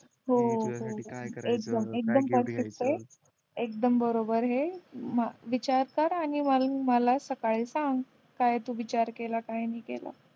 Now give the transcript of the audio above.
हो हो की तुझ्यासाठी काय करायचं एकदम एकदम परफेक्ट ये एकदम बरोबर ये विचार कर आणि मग मला सकाळी सांग काय तू विचार केला काय नाही केला